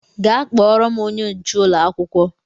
Gaa kpọọrọ m onye nche ụlọ akwụkwọ!